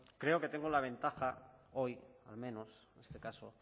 creo que tengo la ventaja hoy al menos en este caso